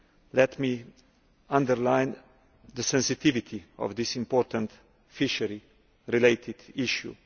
Let me underline the sensitivity of this important fishery related issue.